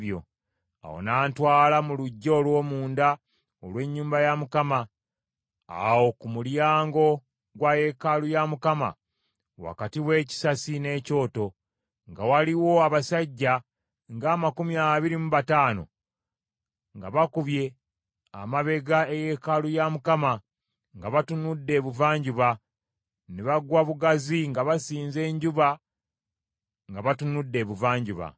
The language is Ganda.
Awo n’antwala mu luggya olw’omunda olw’ennyumba ya Mukama , awo ku mulyango gwa yeekaalu ya Mukama wakati w’ekisasi n’ekyoto, nga waliwo abasajja ng’amakumi abiri mu bataano, nga bakubye amabega eyeekaalu ya Mukama , nga batunudde Ebuvanjuba, ne bagwa bugazi nga basinza enjuba nga batunudde Ebuvanjuba.